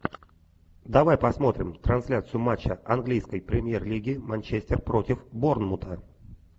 давай посмотрим трансляцию матча английской премьер лиги манчестер против борнмута